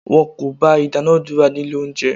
Wọn kò gba ìdúnadúrà ní ilé oúnjẹ.